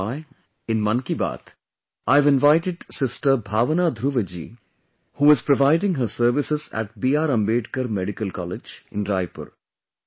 That is why, in Mann Ki Baat, I have invited sister Bhavana Dhruv ji who is providing her services at B R Ambedkar Medical College in Raipur